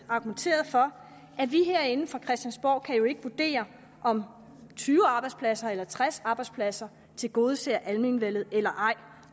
argumenteret for at vi herinde fra christiansborg jo ikke kan vurdere om tyve arbejdspladser eller tres arbejdspladser tilgodeser almenvellet eller ej